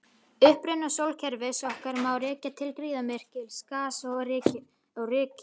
Uppruna sólkerfis okkar má rekja til gríðarmikils gas- og rykskýs.